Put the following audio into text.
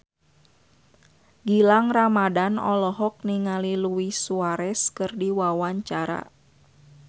Gilang Ramadan olohok ningali Luis Suarez keur diwawancara